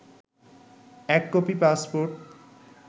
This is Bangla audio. ১ কপি পাসপোর্ট